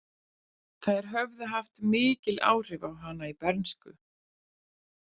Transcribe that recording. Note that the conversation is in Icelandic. Þær höfðu haft mikil áhrif á hana í bernsku.